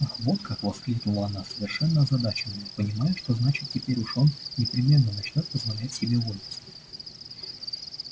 ах вот как воскликнула она совершенно озадаченная понимая что значит теперь уж он непременно начнёт позволять себе вольности